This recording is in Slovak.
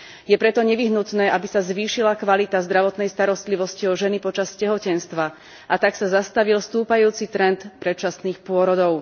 Je preto nevyhnutné, aby sa zvýšila kvalita zdravotnej starostlivosti o ženy počas tehotenstva a tak sa zastavil stúpajúci trend predčasných pôrodov.